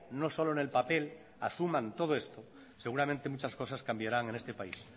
no solo en el papel asuman todo esto seguramente muchas cosas cambiarán en este país